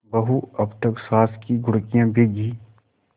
बहू अब तक सास की घुड़कियॉँ भीगी